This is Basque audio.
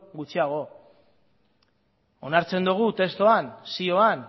gutxiago onartzen dugu testuan zioan